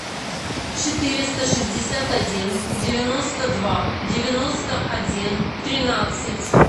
четыреста шестьдесят один девяносто два девяносто один тринадцать